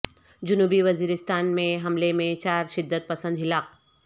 جنوبی وزیرستان میں حملے میں چار شدت پسند ہلاک